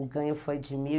O ganho foi de mil